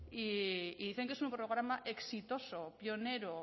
y dicen que es un programa exitoso pionero